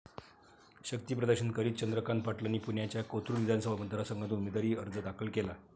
शक्तीप्रदर्शन करीत चंद्रकांत पाटलांनी पुण्याच्या कोथरुड विधानसभा मतदारसंघातून उमेदवारी अर्ज दाखल केला.